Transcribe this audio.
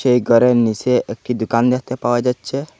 এই গরের নীচে একটি দুকান দেখতে পাওয়া যাচ্ছে।